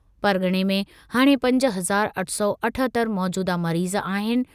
परग॒णे में हाणे पंज हज़ार अठ सौ अठहतरि मौजूदह मरीज़ आहिनि।